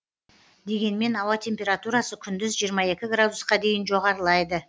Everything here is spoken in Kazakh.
дегенмен ауа температурасы күндіз жиырма екі градусқа дейін жоғарылайды